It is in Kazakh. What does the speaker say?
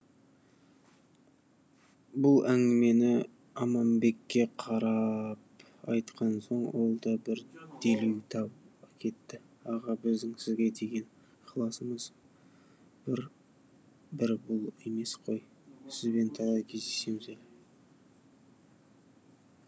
бұл әңгімені аманбекке қарап айтқан соң ол да бір делеу таба кетті аға біздің сізге деген ықыласымыз бір бұл емес қой сібен талай кездесеміз әлі